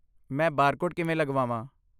ਮੈਂ ਬਾਰਕੋਡ ਕਿਵੇਂ ਲਗਵਾਵਾਂ?